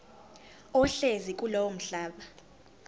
ohlezi kulowo mhlaba